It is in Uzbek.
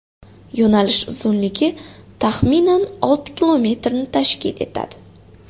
Yo‘nalish uzunligi taxminan olti kilometrni tashkil etadi”.